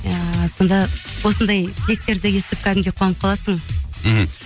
ыыы сонда осындай тілектерді естіп кәдімгідей қуанып қаласың мхм